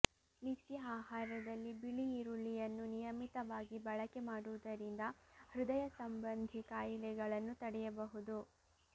ನಿತ್ಯ ಆಹಾರದಲ್ಲಿ ಬಿಳಿ ಈರುಳ್ಳಿಯನ್ನು ನಿಯಮಿತವಾಗಿ ಬಳಕೆ ಮಾಡುವುದರಿಂದ ಹೃದಯ ಸಂಬಂಧಿ ಖಾಯಿಲೆಗಳನ್ನು ತಡೆಯಬಹುದು